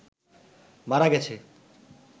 মারা গেছে